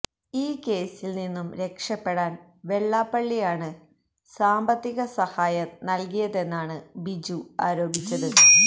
ഈ കേസിൽ നിന്നും രക്ഷപെടാൻ വെള്ളാപ്പള്ളിയാണ് സാമ്പത്തിക സഹായം നൽകിയതെന്നാണ് ബിജു ആരോപിച്ചത